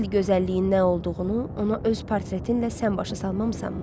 Əsl gözəlliyin nə olduğunu ona öz portretinlə sən başa salmamısanmı?